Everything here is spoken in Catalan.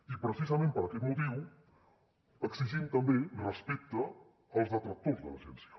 i precisament per aquest motiu exigim també respecte als detractors de l’agència